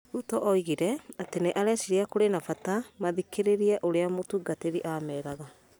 Ruto oigire, atĩ nĩ areciria kũrĩ na bata mathikĩrĩria ũrĩa Mũtungatĩri ameraga.